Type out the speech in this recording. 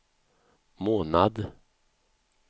månad